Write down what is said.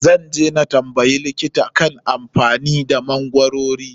Zan je na tambayi likita kan amfanin da magwarori.